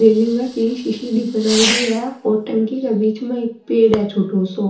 बिल्डिंग के सी सीडी बनाएडी है और टंकी के बीच में एक पेड़ है छोटो सो।